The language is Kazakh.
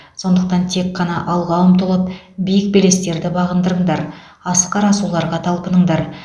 сондықтан тек қана алға ұмтылып биік белестерді бағындырыңдар асқар асуларға талпыныңдар